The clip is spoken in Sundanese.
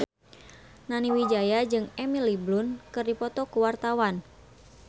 Nani Wijaya jeung Emily Blunt keur dipoto ku wartawan